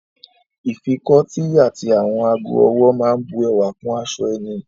Ìfikọ́tí àti àwọn ago-ọwọ́ máa bu ẹwà kún aṣọ ẹni.